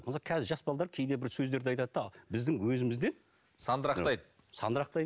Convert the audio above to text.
мысалы қазір жас балалар кейде бір сөздерді айтады да біздің өзімізден сандырақтайды сандырақтайды